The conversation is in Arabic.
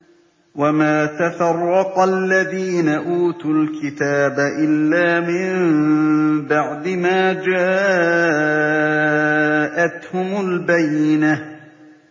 وَمَا تَفَرَّقَ الَّذِينَ أُوتُوا الْكِتَابَ إِلَّا مِن بَعْدِ مَا جَاءَتْهُمُ الْبَيِّنَةُ